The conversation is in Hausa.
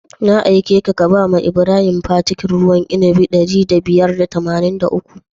Na aikeka ka ba Ibrahim fakitin ruwan inabi ɗari biyar da tamanin da uku?